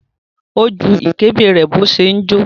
Ó ju ìkébè rẹ̀ bó ṣe ń jó.